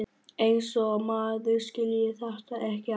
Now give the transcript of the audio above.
Eins og maður skilji þetta ekki alveg!